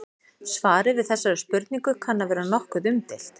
Svarið við þessari spurningu kann að vera nokkuð umdeilt.